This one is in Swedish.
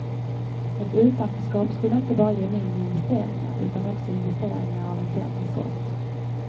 Ett utanförskap skulle inte bara ge mindre investeringar utan också investeringar av en sämre sort.